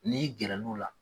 N'i gɛrɛ l'ula